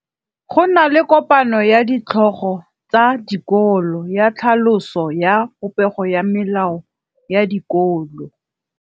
Go na le kopanô ya ditlhogo tsa dikolo ya tlhaloso ya popêgô ya melao ya dikolo.